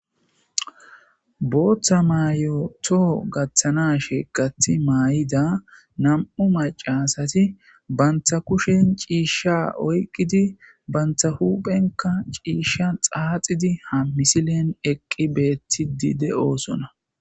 booththa mayoto gaththana sheeqati maay7ida nam7u macasati bantha kushen ciishsha oyqqidi bantha huphenka ciisha xaaxidi ham misilen eqqi beeti di de7oosona